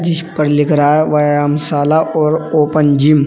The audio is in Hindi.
इस पर लिख रहा हैं व्यायाम शाला और ओपन जिम ।